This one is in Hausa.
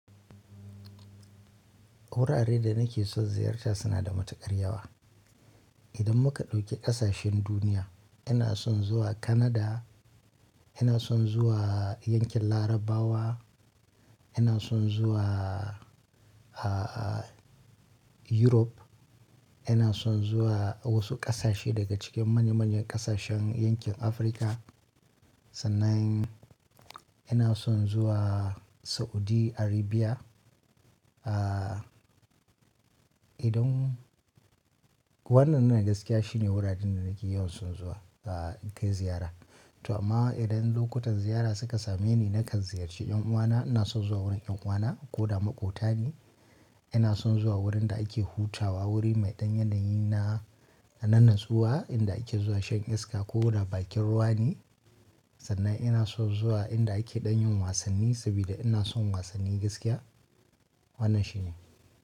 Wurare da nake son ziyarta suna da matuƙar yawa. Idan muka ɗauki ƙasashen duniya, ina son zuwa Canada, ina son zuwa yankin Larabawa ina son zuwa, ah, ah, Europe, ina son zuwa wasu ƙasashe daga cikin manya-manyan ƙasashen yankin Afrika. Sannan ina son zuwa Saudi Arabia. Ah, idan wannan ne gaskiya shine wuraren da nake yawan son zawa, ah, in kai ziyara. To amma idan lokutan ziyara suka same ni na kan ziyarci ƴan uwana, ina son zuwa wurin ƴan uwana ko da maƙotani. Ina son zuwa wurin da ake hutawa, wuri mai ɗan yanayi na, na nan natsuwa inda ake zuwa shan iska ko da bakin ruwa ne. Sannan ina son zuwa inda ake ɗan yin wasanni saboda ina son wasanni gaskiya. Wannan shi ne.